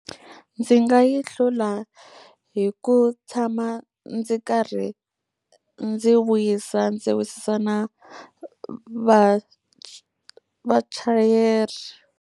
Ndzi nga yi hlula hi ku tshama ndzi karhi ndzi vuyisa ndzi wisisa na vachayeri.